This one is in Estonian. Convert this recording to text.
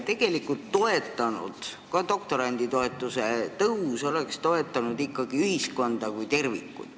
Tegelikult oleks doktoranditoetuse tõus toetanud ka ühiskonda kui tervikut.